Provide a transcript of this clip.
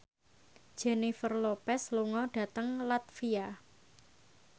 Jennifer Lopez lunga dhateng latvia